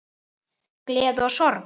Gleði og sorg.